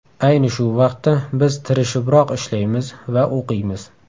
Ayni shu vaqtda biz tirishibroq ishlaymiz va o‘qiymiz.